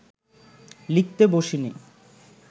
লিখতে বসিনি